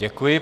Děkuji.